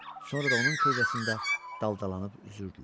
Sonra da onun kölgəsində daldalanıb üzürdülər.